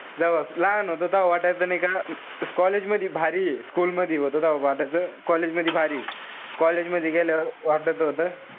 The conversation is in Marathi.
जव्हा लहान होतो तव्हा वाटायचं नाई का college मधी भारी school मधी व्हतो तव्हा वाटायचं college मधी भारी. college मधी गेल्यावर त वाटत होत,